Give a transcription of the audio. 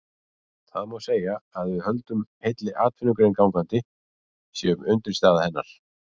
Það má segja að við höldum heilli atvinnugrein gangandi, séum undirstaða hennar.